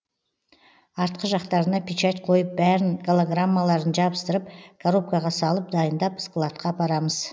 артқы жақтарына печать қойып бәрін голограммаларын жабыстырып коробкаға салып дайындап складқа апарамыз